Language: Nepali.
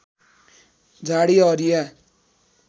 झाडी हरिया